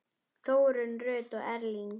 Þórunn Rut og Erling.